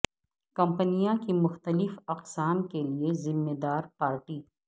کمپنیاں کی مختلف اقسام کے لئے ذمہ دار پارٹی